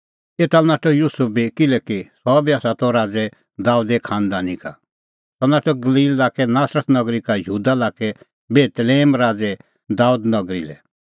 एता लै नाठअ युसुफ बी किल्हैकि सह बी आसा त राज़ै दाबेदे खांनदानी का सह नाठअ गलील लाक्के नासरत नगरी का यहूदा लाक्कै बेतलेहम राज़ै दाबेदे नगरी लै